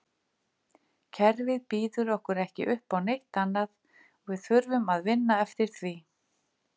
Kerfið býður okkur ekki uppá neitt annað og við þurfum að vinna eftir því.